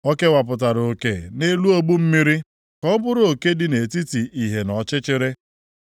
O kewapụtara oke nʼelu ogbu mmiri, ka ọ bụrụ oke dị nʼetiti ìhè na ọchịchịrị.